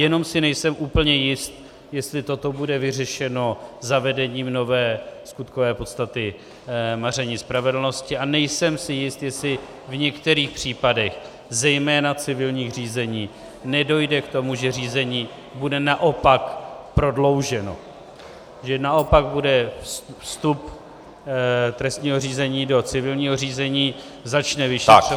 Jenom si nejsem úplně jist, jestli toto bude vyřešeno zavedením nové skutkové podstaty maření spravedlnosti, a nejsem si jist, jestli v některých případech zejména civilních řízení nedojde k tomu, že řízení bude naopak prodlouženo, že naopak bude vstup trestního řízení do civilního řízení, začne vyšetřování -